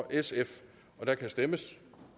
der kan stemmes